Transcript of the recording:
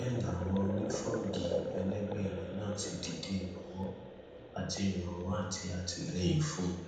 bẹẹ làwọn onífọgi ẹlẹgbẹ rẹ náà ti dìde ìrànwọ àti ìrànwọ àti àtìlẹyìn fún un